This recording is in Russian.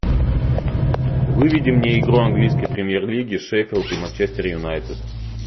выведи мне игру английской премьер лиги шеффилд и манчестер юнайтед